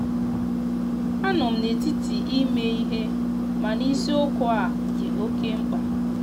anọm na etiti ime ihe mana ịsiokwu a di oke mkpa.